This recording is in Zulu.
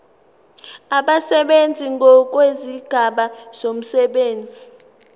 abasebenzi ngokwezigaba zomsebenzi